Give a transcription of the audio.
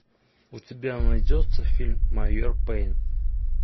у тебя найдется фильм майор пейн